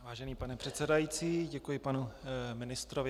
Vážený pane předsedající, děkuji panu ministrovi.